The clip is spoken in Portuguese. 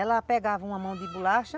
Ela pegava uma mão de bolacha,